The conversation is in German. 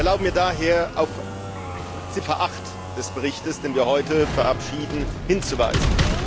Ich erlaube mir daher, auf Ziffer 8 des Berichts, den wir heute verabschieden, hinzuweisen.